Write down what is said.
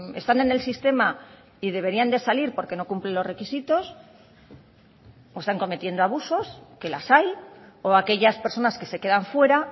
están en el sistema y deberían de salir porque no cumplen los requisitos o están cometiendo abusos que las hay o aquellas personas que se quedan fuera